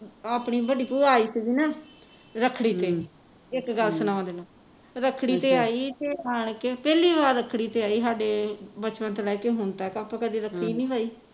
ਅਹ ਆਪਣੀ ਵੱਡੀ ਭੂਆ ਆਈ ਸੀ ਨਾ ਰੱਖੜੀ ਤੇ ਇੱਕ ਗੱਲ ਸੁਨਾਵਾਂ ਤੈਨੂੰ ਰੱਖੜੀ ਤੇ ਆਈ ਤੇ ਆਣ ਕੇ ਤੇ ਪਹਿਲੀ ਵਾਰ ਰੱਖੜੀ ਤੇ ਆਈ ਸਾਡੇ ਬਚਪਨ ਤੋਂ ਲੈਕੇ ਹੁਣ ਤਕ ਆਪਾਂ ਕਦੇ ਨਹੀਂ ਭਾਈ